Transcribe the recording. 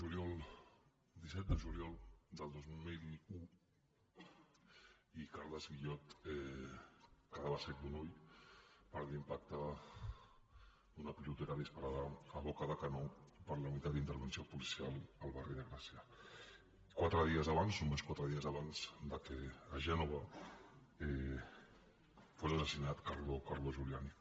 era disset de juliol del dos mil un i carles guillot quedava cec d’un ull per l’impacte d’una pilotera disparada a boca de canó per la unitat d’intervenció policial al barri de gràcia quatre dies abans només quatre dies abans que a gènova fos assassinat carlo giuliani